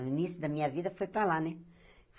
No início da minha vida, fui para lá, né?